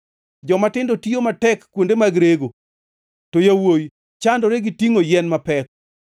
Jomatindo tiyo matek kuonde mag rego, to yawuowi chandore ka gitingʼo yien mapek.